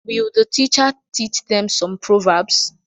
Will the teacher teach them some proverbs